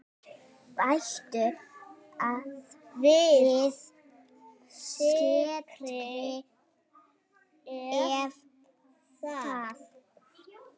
Bættu við sykri ef þarf.